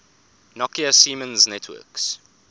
nokia siemens networks